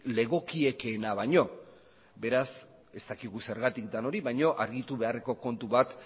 legokiekeena baino beraz ez dakigu zergatik den hori baino argitu beharreko kontu bat